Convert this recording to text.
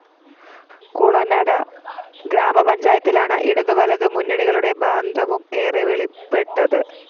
കുളനട ഗ്രാമപഞ്ചായത്തിലാണ് ഇടതുവലതു മുന്നണികളുടെ ബാന്ധവം ഏറെ വെളിപ്പെട്ടത്